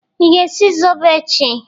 Ị ga-esi zobo echi?